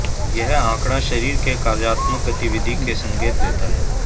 यह आंकड़ा शरीर के कार्यात्मक गतिविधि के संकेत देता है